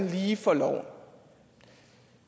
lige for loven